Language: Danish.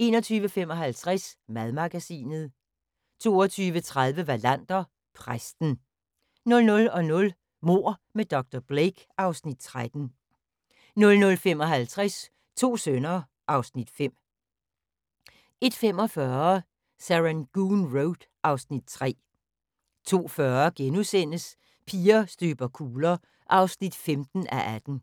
21:55: Madmagasinet 22:30: Wallander: Præsten 00:00: Mord med dr. Blake (Afs. 13) 00:55: To sønner (Afs. 5) 01:45: Serangoon Road (Afs. 3) 02:40: Piger støber kugler (15:18)*